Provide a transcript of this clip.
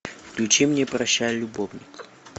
включи мне прощай любовник